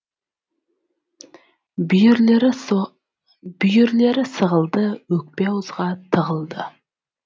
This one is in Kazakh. бүйірлері сығылды өкпе ауызға тығылды